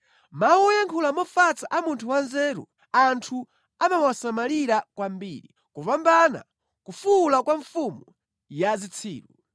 Mawu oyankhula mofatsa a munthu wanzeru, anthu amawasamalira kwambiri kupambana kufuwula kwa mfumu ya zitsiru.